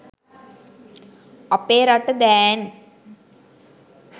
අපෙ රට දෑන්